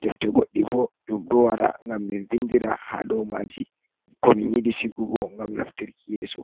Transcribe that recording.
defte goɗɗi bo ɗum do wara ngam min vindira ha do maji ko min yiɗi sigugo ngam naftirki yeso.